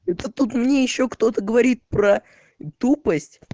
это тут мне ещё кто-то говорит про тупость